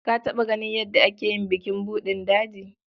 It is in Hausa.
Ka taɓa ganin yadda ake yi bukin buɗin daji?